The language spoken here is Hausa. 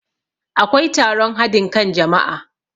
akwai taron hadin kan jama'a